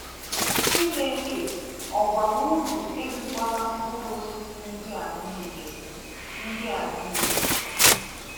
Chineke, ọ gwara ụnụ érikwala mkpụrụ osịsị ndị a niile?. ndị a niile?.